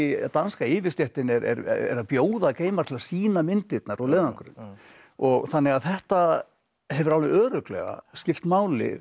danska yfirstéttin er að bjóða Gaimard að sýna myndirnar úr leiðangrinum þannig að þetta hefur alveg örugglega skipt máli